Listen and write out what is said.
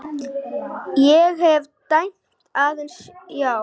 Ég hef dæmt aðeins já.